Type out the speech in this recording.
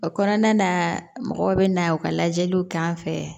O kɔnɔna na mɔgɔw be na u ka lajɛliw k'an fɛ